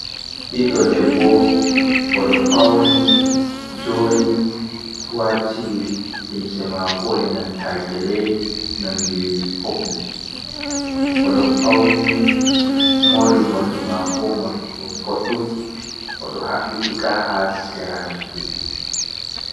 Ɓiɗɗ debbo o ɗo fauni joɗi wati limse mako e nanta gele nonde popul. o ɗo fauni mori morɗi mako morɗi boɗɗum, o ɗo haɓɓitika haa sera noppi.